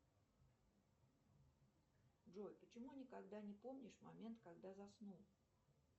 джой почему никогда не помнишь момент когда заснул